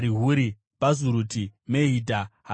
Bhazuruti, Mehidha, Harisha,